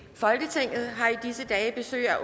folketinget har i disse dage besøg